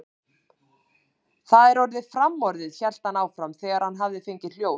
Það er orðið framorðið, hélt hann áfram, þegar hann hafði fengið hljóð.